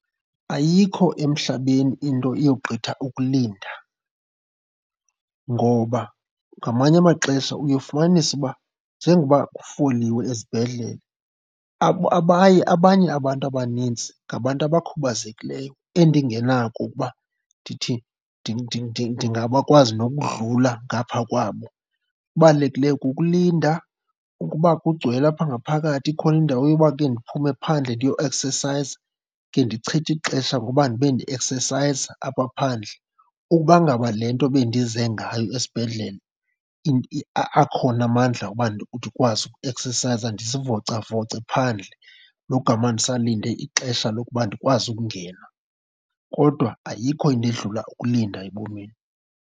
Ayikho emhlabeni into eyogqitha ukulinda. Ngoba ngamanye amaxesha uye ufumanise uba njengoba kufoliwe ezibhedlel abaye, abanye abantu abanintsi ngabantu abakhubazekileyo endingenako ukuba ndithi ndingabakwazi nokudlula ngapha kwabo. Okubalulekileyo kukulinda. Ukuba kugcwele apha ngaphakathi ikhona indawo yoba ke ndiphume phandle ndiyoeksesayiza, ke ndichithe ixesha ngoba ndibe ndieksesayiza apha phandle, ukuba ngaba le nto bendize ngayo esibhedlele akhona amandla oba ndikwazi ukueksesayiza ndizivocavoce phandle logama ndisalinde ixesha lokuba ndikwazi ukungena. Kodwa ayikho into edlula ukulinda ebomini.